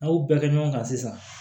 N'a y'o bɛɛ kɛ ɲɔgɔn kan sisan